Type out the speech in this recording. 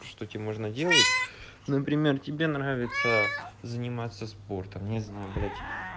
что тебе можно делать например тебе нравится заниматься спортом не знаю блять